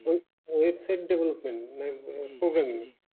website development মানে একধরণের programming